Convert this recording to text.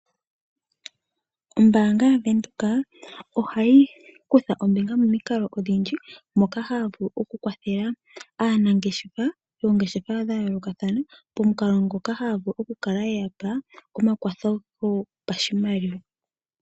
Oombaanga yaVenduka ohayi kutha ombinga momikalo odhindji moka haya vulu okukwathela aanangeshefa yoongeshefa dhayoolokathana, pomukalo ngoka haya vulu okulala yeyapa omakwatho gopashimaliwa.